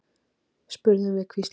spurðum við hvíslandi.